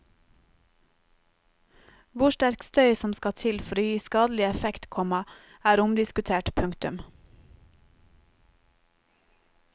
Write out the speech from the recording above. Hvor sterk støy som skal til for å gi skadelig effekt, komma er omdiskutert. punktum